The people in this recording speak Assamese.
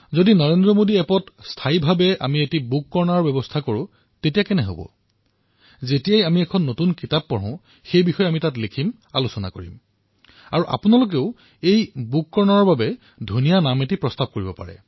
আমি নৰেন্দ্ৰ মোদী এপত এটা স্থায়ী গ্ৰন্থ শিতান এটা ৰাখিব নোৱাৰোনে যাতে যেতিয়াই আমি গ্ৰন্থ এখন অধ্যয়ন কৰো তেতিয়াই এই প্লেটফৰ্মত গ্ৰন্থখনৰ বিষয়ে আলোচনা কৰিব পাৰো আৰু আপোনালোকে এই গ্ৰন্থ শিতানৰ বাবে এটা নামৰো পৰামৰ্শ প্ৰদান কৰিব পাৰে